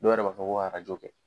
Dɔw yɛrɛ b'a fɔ ko ka kɛ.